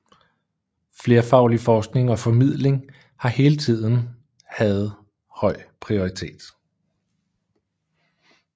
Flerfaglig forskning og formidling har hele tiden havde høj prioritet